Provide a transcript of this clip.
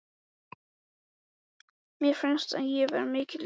Mér fannst ég vera mikill listamaður.